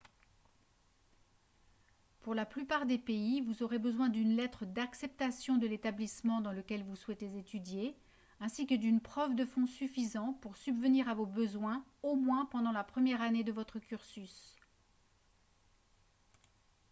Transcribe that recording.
pour la plupart des pays vous aurez besoin d'une lettre d'acceptation de l'établissement dans lequel vous souhaitez étudier ainsi que d'une preuve de fonds suffisants pour subvenir à vos besoins au moins pendant la première année de votre cursus